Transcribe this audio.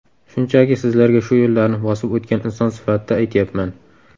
Shunchaki, sizlarga shu yo‘llarni bosib o‘tgan inson sifatida aytyapman.